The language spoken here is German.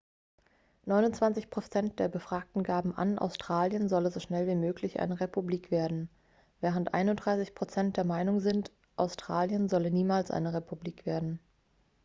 29 prozent der befragten gaben an australien solle so schnell wie möglich eine republik werden während 31 prozent der meinung sind australien solle niemals eine republik werden